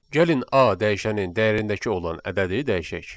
Gəlin A dəyişənin dəyərindəki olan ədədi dəyişək.